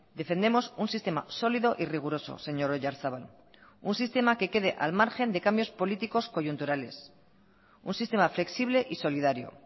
defendemos un sistema sólido y riguroso señor oyarzabal un sistema que quede al margen de cambios políticos coyunturales un sistema flexible y solidario